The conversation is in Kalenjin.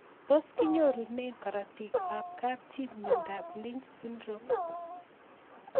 tos kinyorune karatik ab kapchii miondop Lynch syndrome